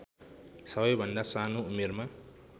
सबैभन्दा सानो उमेरमा